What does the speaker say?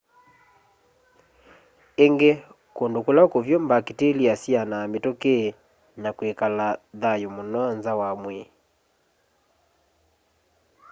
ingi kundu kula kuvyu mbakitilia syianaa mituki na kwikala thayu muno nza wa mwii